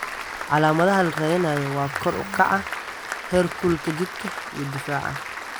Calaamadaha la raadinayo waa kor u kaca heerkulka jidhka iyo qufaca.